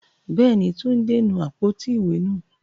Bẹ́ẹ̀ni, Túndé nu àpótí ìwé nù.